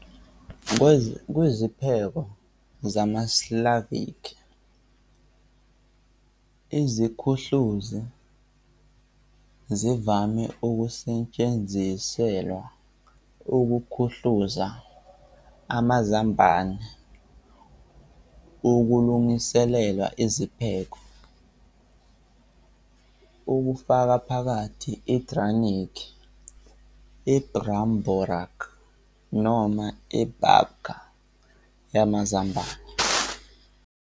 KwiziPheko zamaSlavikhi, iziKhuhluzi zivame ukusetshenziselwa ukuKhuhluza amaZambane ukulungiselela iziPheko, okufaka phakathi idraniki, ibramborak noma ibabka yamaZambane.